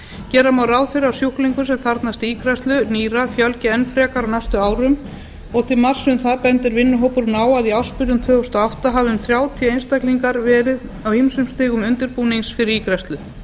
gera má ráð fyrir að sjúklingum sem þarfnast ígræðslu nýra fjölgi enn frekar á næstu árum og til marks um það bendir vinnuhópurinn á að í ársbyrjun tvö þúsund og átta hafi um þrjátíu einstaklingar verið á ýmsum stigum undirbúnings fyrir ígræðslu